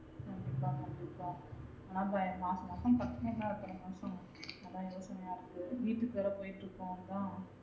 கண்டிப்பா கண்டிப்பா ஆனா மாசம் மாசம் கட்டனும்ல அத்தன மாசம் அதா யோசனையா இருக்கு வீட்டுக்கு வேற போட்டுருக்கும் அதா